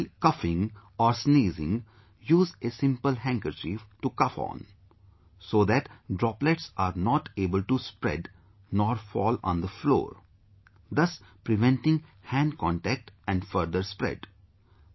And while coughing or sneezing, use a simple handkerchief to cough on, so that droplets are not able to spread, nor fall on the floor, thus preventing hand contact and further spread